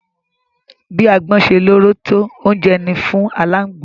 Bi agbọ́n ṣe lóró tó, oúnjẹ ni fún aláǹgbá.